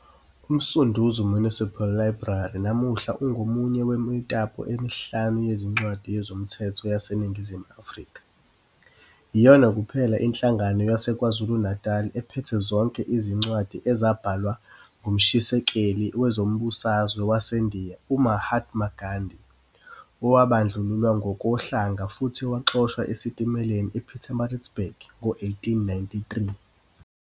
UMsunduzi Municipal Library namuhla ungomunye wemitapo emihlanu yezincwadi yezomthetho yaseNingizimu Afrika. Iyona kuphela inhlangano yaseKwaZulu-Natal ephethe zonke izincwadi ezabhalwa ngumshisekeli wezombusazwe waseNdiya UMahatma Gandhi owabandlululwa ngokohlanga futhi waxoshwa esitimeleni ePietermaritzburg ngo-1893.